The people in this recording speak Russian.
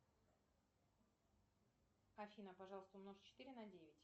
афина пожалуйста умножь четыре на девять